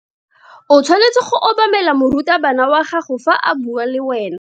O tshwanetse go obamela morutabana wa gago fa a bua le wena.